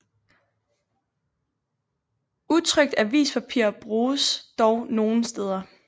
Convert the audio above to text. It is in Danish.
Utrykt avispapir bruges dog nogle steder